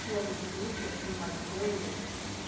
Tinha algum truque, assim, umas manhas?